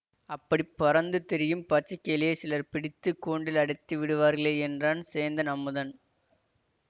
அப்படி பறந்து திரியும் பச்சைக்கிளியைச் சிலர் பிடித்து கூண்டில் அடைத்து விடுவார்களே என்றான் சேந்தன் அமுதன்